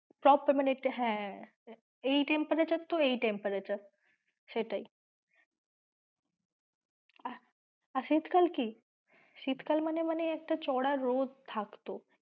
সবসময় হচ্ছে হ্যাঁ এই temperature তো এই temperature সেটাই আর শীত কাল কি শীতকাল মানে একটা চড়া রোদ থাকতো।